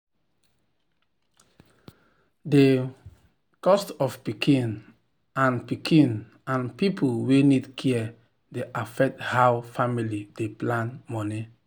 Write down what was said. the cost of pikin and pikin and people wey need care dey affect how family dey plan money.